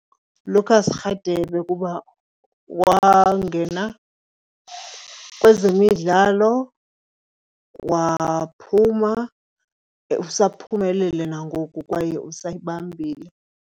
Lucas Radebe kuba wangena kwezemidlalo waphuma, usaphumelele nangoku kwaye usayibambile.